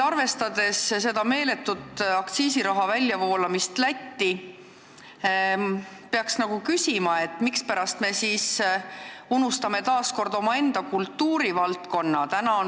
Arvestades aktsiisiraha meeletut väljavoolamist Lätti, peaks küsima, mispärast me taas kord unustame omaenda kultuurivaldkonna.